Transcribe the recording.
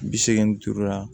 Bi seegin duuru la